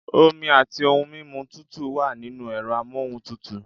Omi àti ohun mímu tútù wà nínú ẹ̀rọ amóhuntutù.